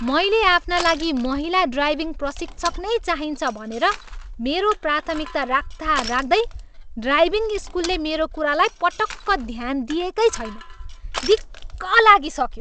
मैले आफ्ना लागि महिला ड्राइभिङ प्रशिक्षक नै चाहिन्छ भनेर मेरो प्राथमिकता राख्दाराख्दै ड्राइभिङ स्कुलले मेरो कुरालाई पटक्क ध्यान दिएकै छैन। दिक्क लागिसक्यो।